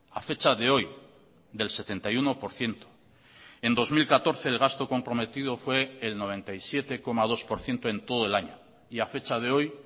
a fecha de hoy del setenta y uno por ciento en dos mil catorce el gasto comprometido fue el noventa y siete coma dos por ciento en todo el año y a fecha de hoy